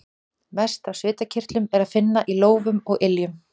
Mest af svitakirtlum er að finna í lófum og iljum.